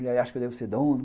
Ele acha que eu devo ser dono.